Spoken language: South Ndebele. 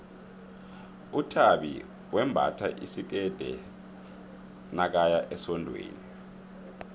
uthabi wembatha isikerde nakaya esondweni